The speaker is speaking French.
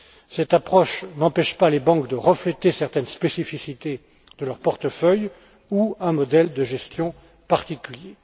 Cette approche n'empêche pas les banques de refléter certaines spécificités de leur portefeuille ou un modèle de gestion particulier.